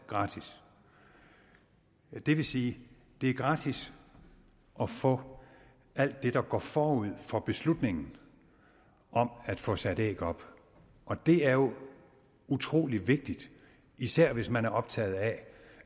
gratis det vil sige at det er gratis at få alt det der går forud for beslutningen om at få sat æg op og det er jo utrolig vigtigt især hvis man er optaget af